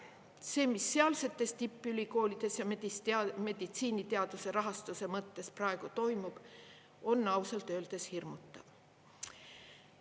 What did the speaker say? See, mis sealsetes tippülikoolides ja meditsiiniteaduse rahastuse mõttes praegu toimub, on ausalt öeldes hirmutav.